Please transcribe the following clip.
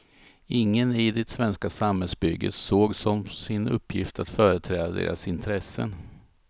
Ingen i det svenska samhällsbygget såg som sin uppgift att företräda deras intressen.